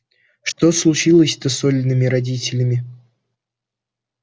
что случилось-то с олиными родителями